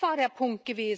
Das war der Punkt!